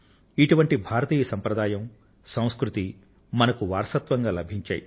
ఇటువంటి భారతీయ పరంపర ఇటువంటి సంస్కృతి మనకు వారసత్వంగా లభించాయి